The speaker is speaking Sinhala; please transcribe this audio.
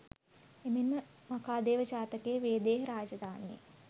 එමෙන් ම මඛාදේවජාතකයේ වේදේහ රාජධානියේ